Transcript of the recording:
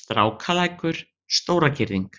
Strákalækur, Stóragirðing